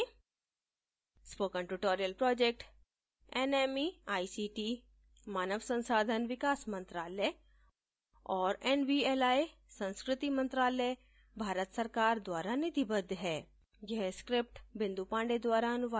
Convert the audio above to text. spoken tutorial project nmeict मानव संसाधन विकास मंत्रायल और nvli संस्कृति मंत्रालय भारत सरकार द्वारा निधिबद्ध है